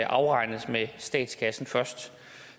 afregnes med statskassen først